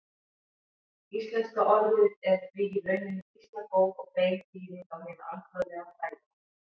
Íslenska orðið er því í rauninni býsna góð og bein þýðing á hinu alþjóðlega fræðiorði.